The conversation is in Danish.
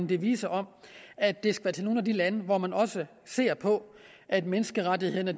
devisen om at det skal være til nogle af de lande hvor man også ser på at menneskerettighederne